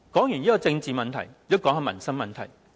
說完政治問題，也談談民生問題。